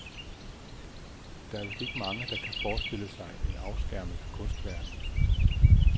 Der er vist ikke mange, der kan forestille sig en afskærmet kunstverden.